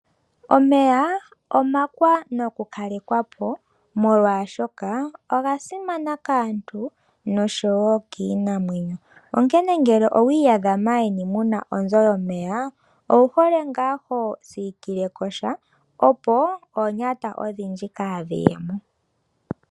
Omeya omakwanakukalekwapo molwaashoka oga simana kaantu noshowoo kiinamwenyo , onkene ngele maandjeni owiiyadha muna onzo yomeya owu hole nga hosiikileko sha, opo oonyata odhindji kaadhi yemo.